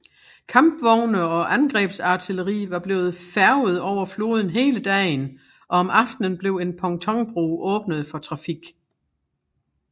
Kampvogne og angrebsartilleri var blevet færget over floden hele dagen og om aftenen blev en pontonbro åbnet for trafik